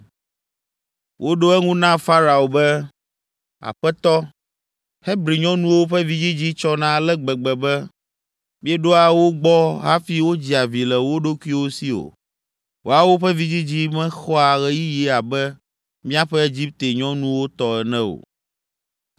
Woɖo eŋu na Farao be, “Aƒetɔ, Hebri nyɔnuwo ƒe vidzidzi tsɔna ale gbegbe be, míeɖoa wo gbɔ hafi wodzia vi le wo ɖokuiwo si o. Woawo ƒe vidzidzi mexɔa ɣeyiɣi abe míaƒe Egipte nyɔnuwo tɔ ene o!”